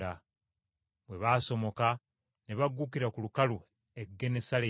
Bwe baasomoka ne bagukkira ku lukalu e Genesaleeti.